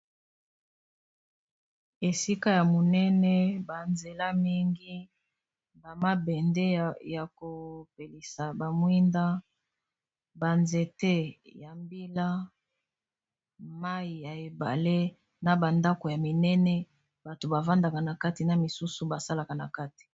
Esika ya monene ba nzela mingi bamabende ya kopelisa ba mwinda ba nzete ya mbila mai ya ebale na bandako ya minene bato bavandaka na kati na misusu basalaka na kati.